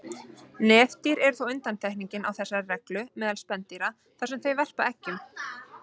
Nefdýr eru þó undantekningin á þessari reglu meðal spendýra þar sem þau verpa eggjum.